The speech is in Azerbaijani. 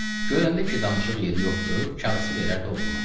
Görəndə ki, danışıq yeri yoxdur, kağızı verərdi oğluna.